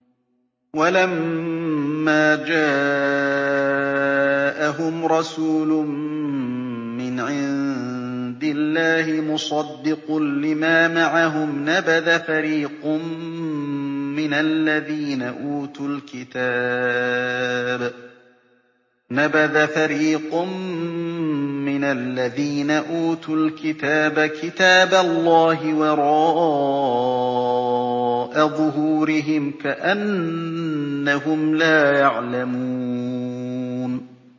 وَلَمَّا جَاءَهُمْ رَسُولٌ مِّنْ عِندِ اللَّهِ مُصَدِّقٌ لِّمَا مَعَهُمْ نَبَذَ فَرِيقٌ مِّنَ الَّذِينَ أُوتُوا الْكِتَابَ كِتَابَ اللَّهِ وَرَاءَ ظُهُورِهِمْ كَأَنَّهُمْ لَا يَعْلَمُونَ